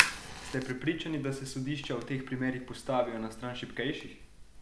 Ste prepričani, da se sodišča v teh primerih postavijo na stran šibkejših?